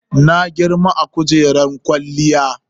Na girma a kujeran kwaliyya.